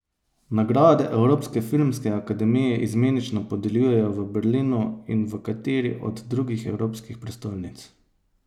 Nagrade Evropske filmske akademije izmenično podeljujejo v Berlinu in v kateri od drugih evropskih prestolnic.